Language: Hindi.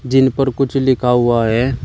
जिन पर कुछ लिखा हुआ है।